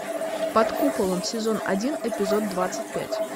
под куполом сезон один эпизод двадцать пять